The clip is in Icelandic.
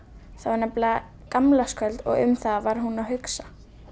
það var nefnilega gamlárskvöld og um það var hún að hugsa